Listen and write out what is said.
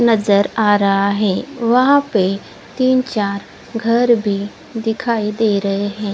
नजर आ रहा है वहां पे तीन चार घर भी दिखाई दे रहे हैं।